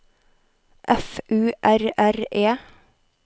F U R R E